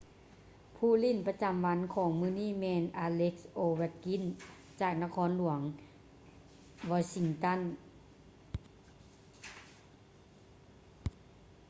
ຜູ້ຫຼິ້ນປະຈໍາວັນຂອງມື້ນີ້ແມ່ນ alex ovechkin ຈາກນະຄອນຫຼວງ washington